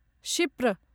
क्षिप्र